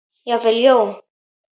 Jafnvel Jón